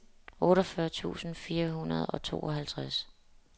otteogfyrre tusind fire hundrede og tooghalvtreds